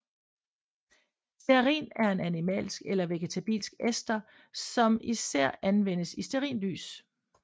Stearin er en animalsk eller vegetabilsk ester som især anvendes i stearinlys